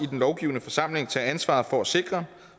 i den lovgivende forsamling tage ansvar for at sikre